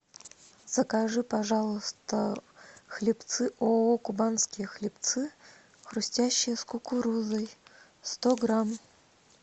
закажи пожалуйста хлебцы ооо кубанские хлебцы хрустящие с кукурузой сто грамм